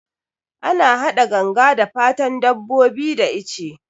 Ana hada ganga da fatan dabbobi da ice